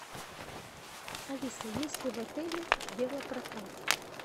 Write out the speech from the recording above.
алиса есть ли в отеле велопрокат